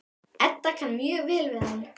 Edda kann mjög vel við hann.